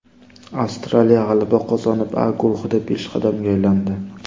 Avstraliya g‘alaba qozonib, A guruhida peshqadamga aylandi.